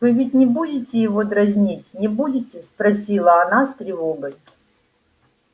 вы ведь не будете его дразнить не будете спросила она с тревогой